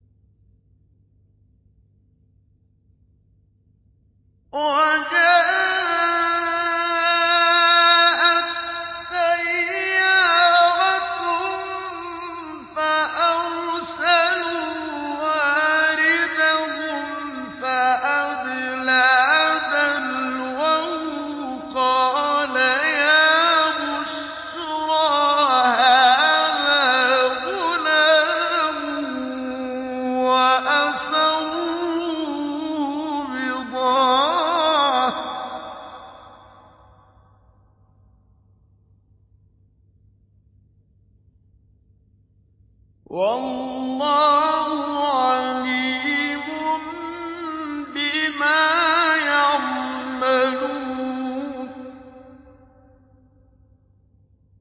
وَجَاءَتْ سَيَّارَةٌ فَأَرْسَلُوا وَارِدَهُمْ فَأَدْلَىٰ دَلْوَهُ ۖ قَالَ يَا بُشْرَىٰ هَٰذَا غُلَامٌ ۚ وَأَسَرُّوهُ بِضَاعَةً ۚ وَاللَّهُ عَلِيمٌ بِمَا يَعْمَلُونَ